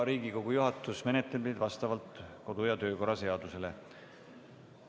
Riigikogu juhatus menetleb neid vastavalt kodu- ja töökorra seadusele.